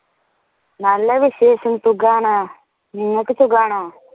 നല്ല വിശേഷം സുഖമാണ്. നിങ്ങള്ക്ക് സുഖമാണോ?